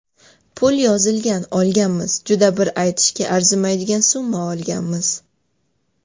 Pul yozilgan olganmiz, juda bir aytishga arzimaydigan summa olganmiz.